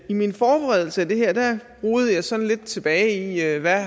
i min forberedelse af det her rodede jeg sådan lidt tilbage i hvad